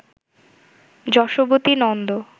Yashobati Nanda